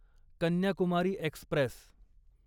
Kanyakumari Express